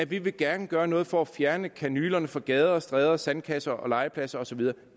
vi vil gerne gøre noget for at fjerne kanylerne fra gader og stræder sandkasser legepladser og så videre